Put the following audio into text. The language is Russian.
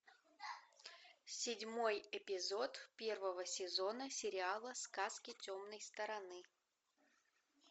седьмой эпизод первого сезона сериала сказки темной стороны